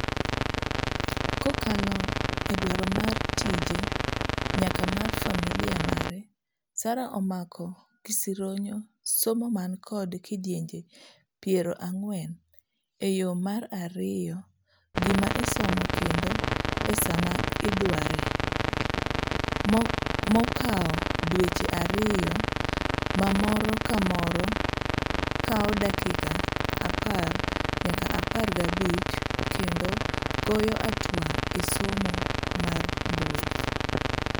Kokalo edwaro mar tije nyaka mar familia mare, Sara omako gisironyo somo man kod kidienje piero ang'wen eyo mar yiero gima isomo kendo esa ma idwaree. mokawo dweche ariyo ma moro kamoro kawo dakika apar nyaka apar gabich kendo goyo atwa e somo mar mbui'